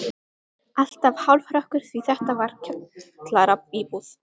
Alltaf hálfrökkur því þetta var kjallaraíbúð.